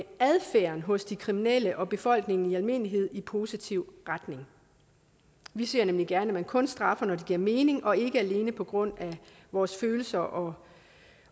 adfærden hos de kriminelle og befolkningen i almindelighed i positiv retning vi ser nemlig gerne at man kun straffer når det giver mening og ikke alene på grund af vores følelser og